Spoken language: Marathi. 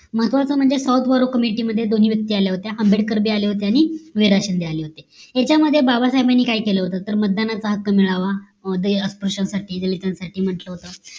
महत्वाचं म्हणजे south BORROW committee मध्ये दोन्ही व्यक्ती आल्या होत्या आंबेडकर बी आले होते आणि वि रा शिंदे आले होते याच्या मध्ये बाबासाहेबांनी काय केलं होत तर मतदानाचा हक्क मिळावा अह दै अस्पृश्यांसाठी दलितांसाठी म्हटलं होत